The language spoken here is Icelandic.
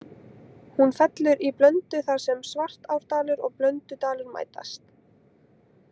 Hún fellur í Blöndu þar sem Svartárdalur og Blöndudalur mætast.